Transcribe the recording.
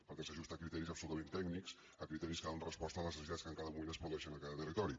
per tant s’ajusta a criteris absolutament tècnics a criteris que donen resposta a les necessitats que en cada moment es produeixen a cada territori